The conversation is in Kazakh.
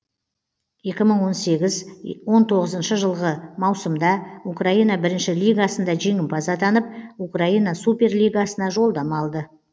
екі мың он сегіз он тоғызыншы жылғы маусымда украина бірінші лигасында жеңімпаз атанып украина суперлигасына жолдама алды